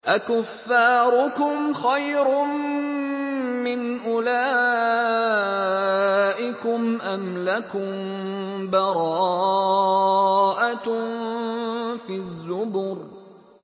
أَكُفَّارُكُمْ خَيْرٌ مِّنْ أُولَٰئِكُمْ أَمْ لَكُم بَرَاءَةٌ فِي الزُّبُرِ